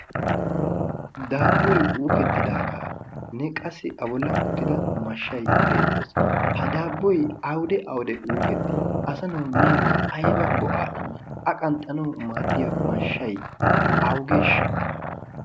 daabboy uukettidaagaanne qassi a bollan uttida mashshay beettees ha daabboy awude awude uuketti asanawu minkka ayba go'aa immi a qanxxanawu maaddiya mashshay awugeeshsha